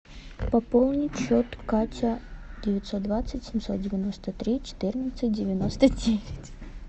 пополнить счет катя девятьсот двадцать семьсот девяносто три четырнадцать девяносто девять